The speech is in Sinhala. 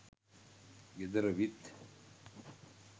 ගෙදර විත්